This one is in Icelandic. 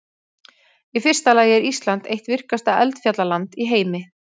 Í fyrsta lagi er Ísland eitt virkasta eldfjallaland í heimi.